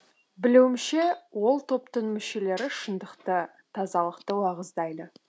білуімше ол топтың мүшелері шындықты тазалықты уағыздайды